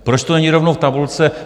Proč to není rovnou v tabulce?